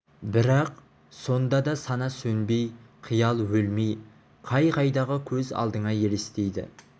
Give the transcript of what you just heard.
бірақ сонда да сана сөнбей қиял өлмей қай-қайдағы көз алдыңа елестейді